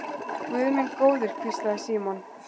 Guð minn góður hvíslaði Símon.